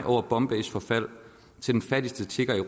over bombay’s forfaldtil den fattigste tigger i